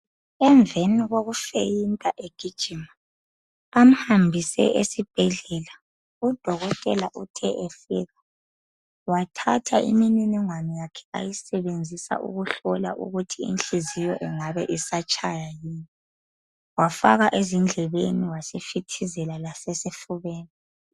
Emveni kokuqaleka egijima bamhambise esibhedlela. Udokotela ufike wathatha imitshina yakhe ayisebenzisa ukuhlola ukuthi inhliziyo ingabe isatshaya yini. Wafaka endlebeni wasefitizela lasesifubeni.